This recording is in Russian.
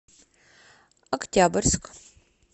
октябрьск